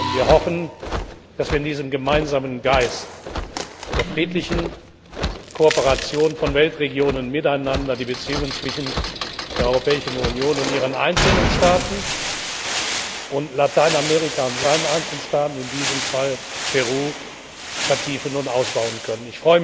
Wir hoffen, dass wir in diesem gemeinsamen Geist der friedlichen Kooperation von Weltregionen miteinander die Beziehungen zwischen der Europäischen Union und ihren einzelnen Staaten und Lateinamerika und seinen einzelnen Staaten, in diesem Fall Peru, vertiefen und ausbauen können.